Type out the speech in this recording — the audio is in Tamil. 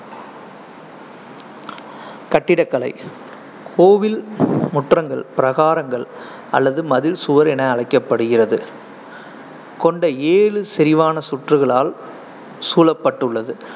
கட்டிடக்கலை கோயில் முற்றங்கள் பிரகாரங்கள் அல்லது மதில் சுவர் என அழைக்கப்படுகிறது கொண்ட ஏழு செறிவான சுற்றுகளால் சூழப்பட்டுள்ளது.